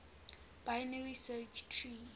binary search tree